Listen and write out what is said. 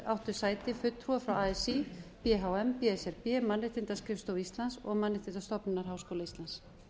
áttu sæti fulltrúar frá así b h m b s r b mannréttindaskrifstofu íslands og mannréttindastofnunar háskóla íslands